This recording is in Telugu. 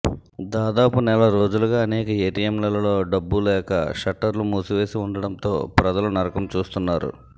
దాదాపు నెల రోజులుగా అనేక ఏటీఎంలలో డబ్బు లేక షట్టర్లు మూసివేసి ఉండటంతో ప్రజలు నరకం చూస్తున్నారు